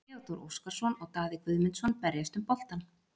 Theodór Óskarsson og Daði Guðmundsson berjast um boltann.